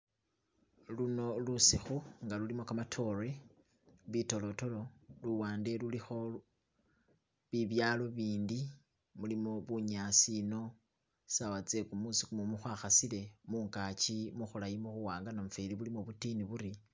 Luno lusikhu nga lulimo kamatore bidolodolo luwand lulikho bibyalo bindi mulimo buyasi eno sawa tsegumusi khumumu gwakhasile mungachi mukhulayi mukhuwanga namufeli bulimo butini buri